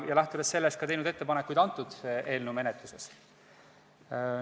Lähtudes sellest oleme teinud selle eelnõu menetluses ettepanekuid.